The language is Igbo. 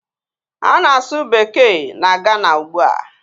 A na-asu bekee na Gana ugbua